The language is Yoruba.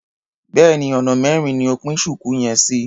Béèni ọ̀nà mẹ́rin ni o pín ṣùkú yẹn sí.